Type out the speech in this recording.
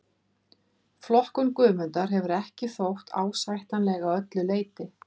Flokkun Guðmundar hefur ekki þótt ásættanleg að öllu leyti.